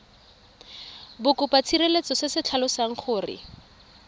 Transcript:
bokopatshireletso se se tlhalosang gore